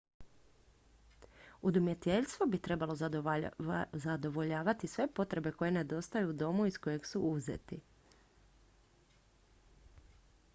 udomiteljstvo bi trebalo zadovoljavati sve potrebe koje nedostaju u domu iz kojeg su uzeti